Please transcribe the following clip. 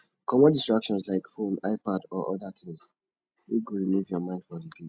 comot distractions like phone ipad or oda things wey go remove your mind for di date